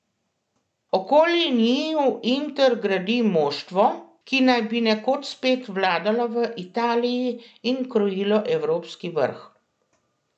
Okoli njiju Inter gradi moštvo, ki naj bi nekoč spet vladalo v Italiji in krojilo evropski vrh.